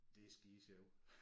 Det er skidesjovt